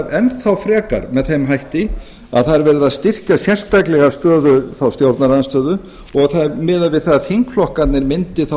enn þá frekar með þeim hætti að það er verið að styrkja sérstaklega stöðu stjórnarandstöðu og það er miðað við að þingflokkarnir myndi þá